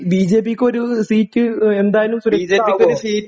ബിജെപിക്കൊരു seat ഏഹ് എന്തായാലും സുരക്ഷിതമാവുവോ?